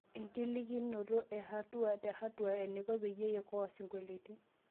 enkilikinoto e hatua te hatua eneiko peyie iokoa osinkolio